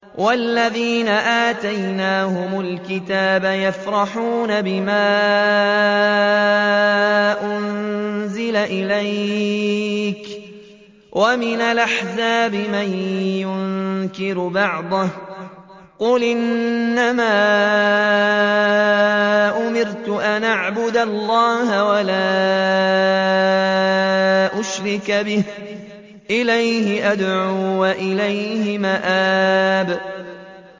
وَالَّذِينَ آتَيْنَاهُمُ الْكِتَابَ يَفْرَحُونَ بِمَا أُنزِلَ إِلَيْكَ ۖ وَمِنَ الْأَحْزَابِ مَن يُنكِرُ بَعْضَهُ ۚ قُلْ إِنَّمَا أُمِرْتُ أَنْ أَعْبُدَ اللَّهَ وَلَا أُشْرِكَ بِهِ ۚ إِلَيْهِ أَدْعُو وَإِلَيْهِ مَآبِ